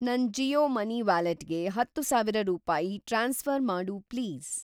ನನ್‌ ಜಿಯೋ ಮನಿ ವ್ಯಾಲೆಟ್‌ಗೆ ಹತ್ತುಸಾವಿರ ರೂಪಾಯಿ ಟ್ರಾನ್ಸ್‌ಫ಼ರ್‌ ಮಾಡು ಪ್ಲೀಸ್.